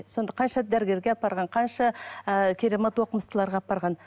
сонда қанша дәрігерге апарған қанша ы керемет оқымыстыларға апарған